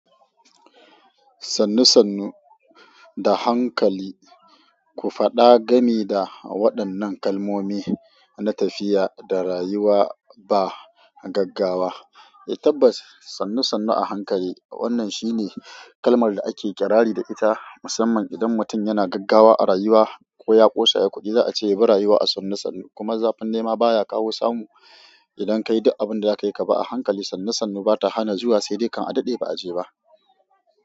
Sannu sannu da hankali. Ku faɗa gani da waɗannan kalmomi na tafiya da rayuwa ba gaggawa. E tabbas sannu sannu a hankali wannan shine kalmar da akei iƙirari da ita musamman idan mutum yana gaggawa a rayuwa ko ya ƙosa ya kuɗi za a ce ya bi rayuwa a sannu sannu. Kuma zafin nema baya kawo samu idan ka yi duk abin da za ka yi ba a hankali sannu sannu bata hana zuwa sai dai kan a daɗe ba a je ba.